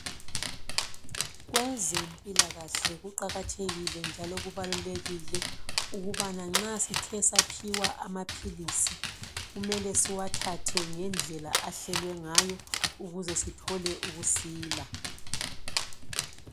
Kwezempilakahle kuqakathekile njalo kubalulekile ukubana nxa sithe saphiwa amaphilisi kumele siwathathe ngendlela ahlelwe ngayo ukuze sithole ukusila.